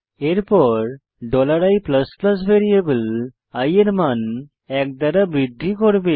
এরপর i variable i এর মান এক দ্বারা বৃদ্ধি করবে